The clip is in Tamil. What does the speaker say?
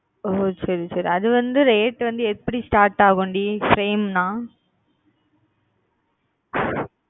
ஓஹ் சரி சரி அதுவந்து rate வந்து எப்பிடி start ஆகும் same ணா